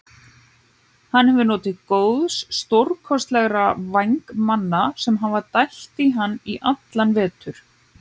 Hann hefur notið góðs stórkostlegra vængmanna sem hafa dælt á hann í allan vetur.